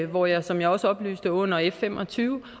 hvor jeg som jeg også oplyste under f fem og tyve